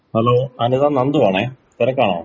Hello Anitha നന്തുവാണെ തെരക്കാണോ?